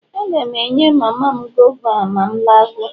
Aga m enye mama m gova a ma m laruo.